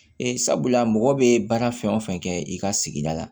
Ee sabula mɔgɔ bɛ baara fɛn o fɛn kɛ i ka sigida la